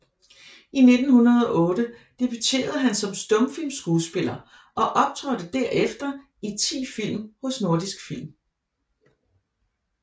I 1908 debuterede han som stumfilmskuespiller og optrådte derefter i 10 film hos Nordisk Film